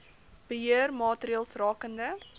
beheer maatreëls rakende